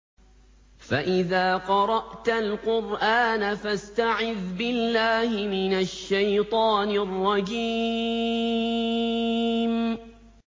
فَإِذَا قَرَأْتَ الْقُرْآنَ فَاسْتَعِذْ بِاللَّهِ مِنَ الشَّيْطَانِ الرَّجِيمِ